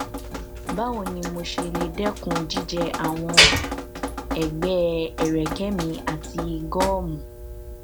báwo ni mo ṣe lè dẹkun jíjẹ àwọn ẹgbẹ ẹrẹkẹ mi àti gọọmù